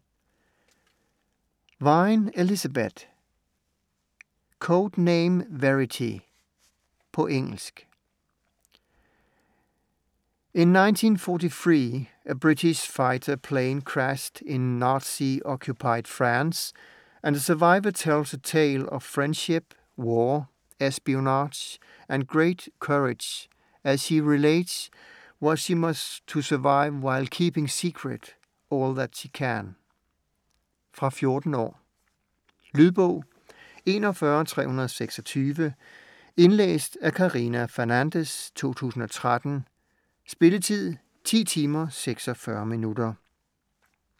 Wein, Elizabeth: Code name Verity På engelsk. In 1943, a British fighter plane crashes in Nazi-occupied France and the survivor tells a tale of friendship, war, espionage, and great courage as she relates what she must to survive while keeping secret all that she can. Fra 14 år. Lydbog 41326 Indlæst af Karina Fernandez, 2013. Spilletid: 10 timer, 46 minutter.